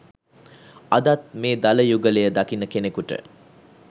අදත් මේ දළ යුගලය දකින කෙනකුට